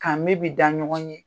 Ka me bi da ɲɔgɔn ye.